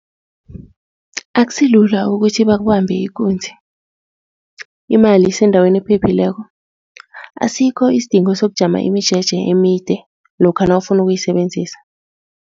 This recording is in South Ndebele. Akusilula ukuthi bakubambe ikunzi. Imali isendaweni ephephileko, asikho isidingo sokujama imijeje emide lokha nawufuna ukuyisebenzisa.